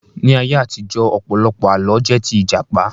Ní ayé àtijọ́, ọ̀pọ̀lọpọ̀ Àlọ́ jẹ́ tí Ìjàpá